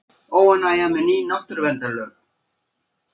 Óánægja með ný náttúruverndarlög